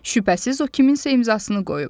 Şübhəsiz o kiminsə imzasını qoyub.